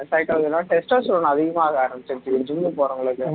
testosterone அதிகமாக ஆரம்பிச்சிடுச்சு gym க்கு போறவங்களுக்கு